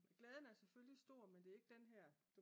Glæden er selvfølgelig stor men det er ikke den her